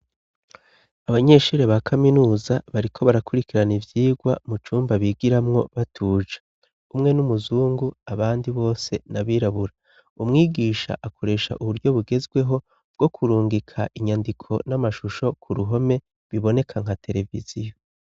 Abanyeshure ba kaminuza bariko barakurikirana ivyigwa mucumba bigiramwo batuje, umwe n'umuzungu abandi bose n'abirabura, umwigisha akoresha uburyo bugezweho bwo kurungika inyandiko n'amashusho ku ruhome biboneka nka tereviziyo.